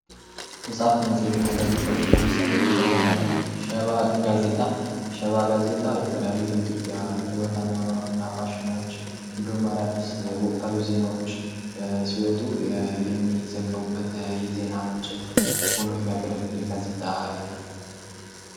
መጽሐፍት መጽሄትና ጋዜጣዎች ለምሳሌ ሸባ ጋዜጣ ሸባ ጋዜጣ የተለያዩ የኢትዮጵያ የይወትና ፋሽኖች እንዲሁም አዳዲስ ወቅታዊ ዜናዎች ሲወጡ የሚዘገቡበት የዜና ምንጭ ሆኖ የሚያገለግል የጋዜጣ አይነት ነው።